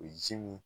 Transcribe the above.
O ye ji min